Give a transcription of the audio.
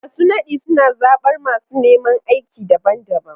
Masu nadi suna zabar masu neman aiki daban-daban.